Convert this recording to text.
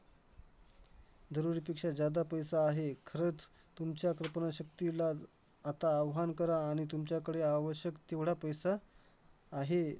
जरुरीपेक्षा पैसा आहे. खरंच तुमच्या कल्पनाशक्तीला आता आव्हान करा आणि तुमच्याकडे आवश्यक तेवढा पैसा आहे,